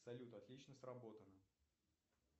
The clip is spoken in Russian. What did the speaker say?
салют отлично сработано